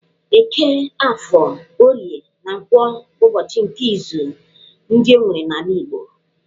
Eke, Afọ, Orie, na Nkwọ bụ ụbọchị nke izu ndị e nwere n'ala Igbo.